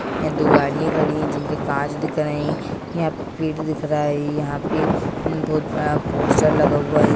यहां दो गाड़ियां खड़ी हुई है जिनका कांच दिख रहे हैं यहां पेड़ दिख रहा है यहां पर बहुत बड़ा पोस्टर लगा हुआ है।